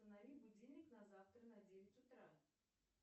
установи будильник на завтра на девять утра